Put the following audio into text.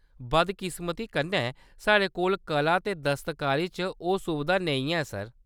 बदकिस्मती कन्नै, साढ़े कोल कला ते दस्तकारी च ओह्‌‌ सुबधा नेईं ऐ, सर।